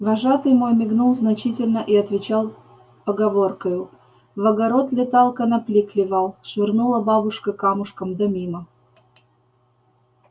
вожатый мой мигнул значительно и отвечал поговоркою в огород летал конопли клевал швырнула бабушка камушком да мимо